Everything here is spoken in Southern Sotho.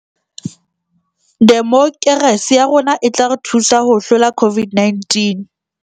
Demokerasi ya rona e tla re thusa ho hlola COVID -19